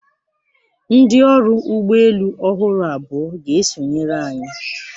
Ndị ọrụ ụgbọ elu ọhụrụ abụọ ga-esonyere anyị.